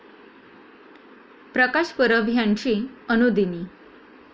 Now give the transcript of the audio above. प्रकाश परब ह्यांची अनुदिनी.